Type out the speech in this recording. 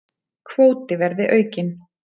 Kvóti verði aukinn